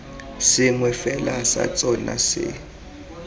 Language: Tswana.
sengwe fela sa tsona se